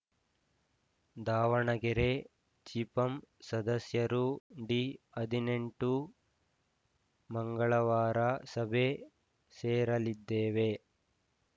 ದಾವಣಗೆರೆ ಜಿಪಂ ಸದಸ್ಯರು ಡಿ ಹದಿನೆಂಟು ಮಂಗಳವಾರ ಸಭೆ ಸೇರಲಿದ್ದೇವೆ